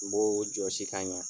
N b'o jɔsi ka ɲa.